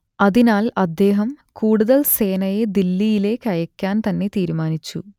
അതിനാൽ അദ്ദേഹം കൂടുതൽ സേനയെ ദില്ലിയിലേക്കയക്കാൻതന്നെ തീരുമാനിച്ചു